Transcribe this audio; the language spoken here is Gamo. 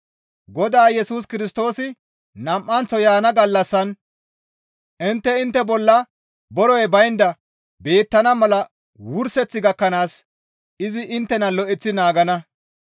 Godaa Yesus Kirstoosi nam7anththo yaana gallassan intte intte bolla borey baynda beettana mala wurseth gakkanaas izi inttena lo7eththi naagana.